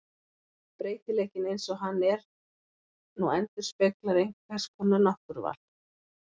Breytileikinn eins og hann er nú endurspeglar einhvers konar náttúruval.